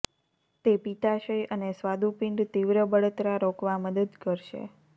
તે પિત્તાશય અને સ્વાદુપિંડ તીવ્ર બળતરા રોકવા મદદ કરશે